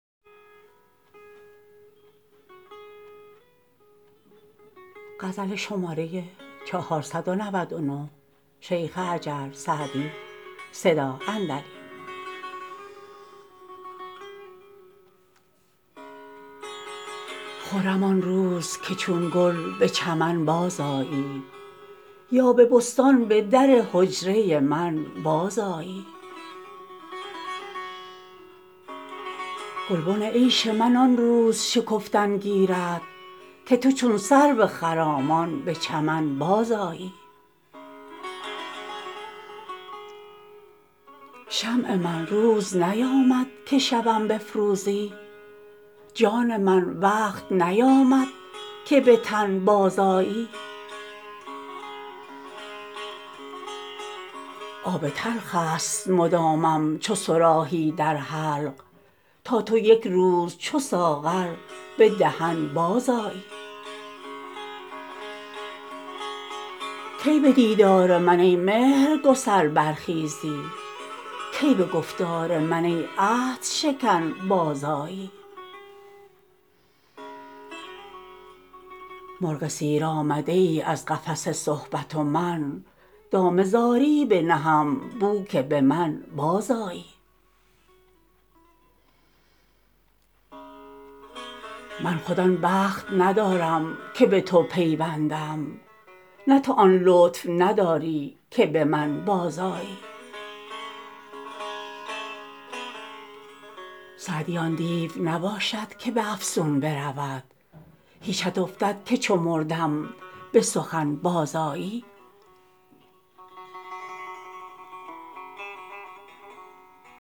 خرم آن روز که چون گل به چمن بازآیی یا به بستان به در حجره من بازآیی گلبن عیش من آن روز شکفتن گیرد که تو چون سرو خرامان به چمن بازآیی شمع من روز نیامد که شبم بفروزی جان من وقت نیامد که به تن بازآیی آب تلخ است مدامم چو صراحی در حلق تا تو یک روز چو ساغر به دهن بازآیی کی به دیدار من ای مهرگسل برخیزی کی به گفتار من ای عهدشکن بازآیی مرغ سیر آمده ای از قفس صحبت و من دام زاری بنهم بو که به من بازآیی من خود آن بخت ندارم که به تو پیوندم نه تو آن لطف نداری که به من بازآیی سعدی آن دیو نباشد که به افسون برود هیچت افتد که چو مردم به سخن بازآیی